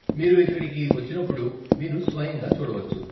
మీరు ఇక్కడికి వచ్చినప్పుడు, మీరు స్వయంగా చూడవచ్చు.